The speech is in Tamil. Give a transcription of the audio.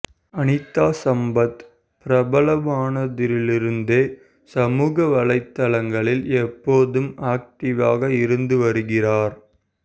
அனிதா சம்பத் பிரபலமானத்திலிருந்தே சமூக வலைத்தளங்களில் எப்போதும் ஆக்ட்டிவாக இருந்து வருகிறார்